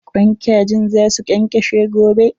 Kwain kajin za su ƙenƙeshe gobe.